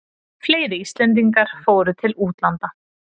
Fleiri Íslendingar fóru til útlanda